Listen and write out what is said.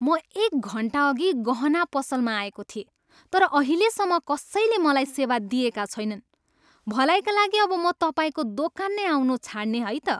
म एक घन्टाअघि गहना पसलमा आएको थिएँ तर अहिलेसम्म कसैले मलाई सेवा दिएका छैनन्। भलाइका लागि अब म तपाईँको दोकान नै आउनु छाड्ने है त।